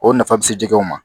O nafa bɛ se jɛgɛw ma